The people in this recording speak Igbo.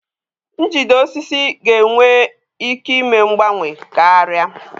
Njide osisi ga-enwe ike ime mgbanwe karịa.